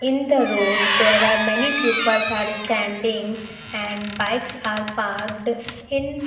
in the road there are many peoples are standing and bikes are parked in --